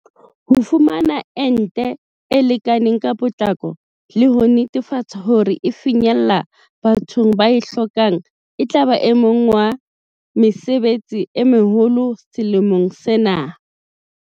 Ho fumana ente e lekaneng ka potlako le ho netefatsa hore e finyella bathong ba e hlokang etlaba o mong wa mesebetsi e meholo selemong sena.